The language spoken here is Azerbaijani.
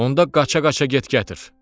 Onda qaça-qaça get gətir.